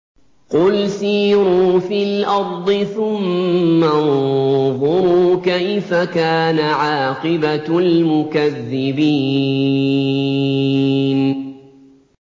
قُلْ سِيرُوا فِي الْأَرْضِ ثُمَّ انظُرُوا كَيْفَ كَانَ عَاقِبَةُ الْمُكَذِّبِينَ